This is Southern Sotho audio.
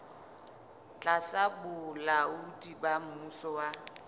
tlasa bolaodi ba mmuso wa